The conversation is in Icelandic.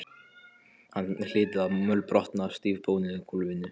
Hann hlyti að mölbrotna á stífbónuðu gólfinu.